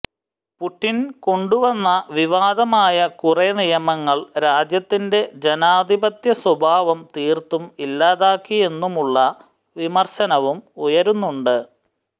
Putin കൊണ്ടുവന്ന വിവാദമായ കുറേ നിയമങ്ങൾ രാജ്യത്തിന്റെ ജനാധിപത്യ സ്വഭാവം തീർത്തും ഇല്ലാതാക്കിയെന്നുമുള്ള വിമർശനവും ഉയരുന്നുണ്ട്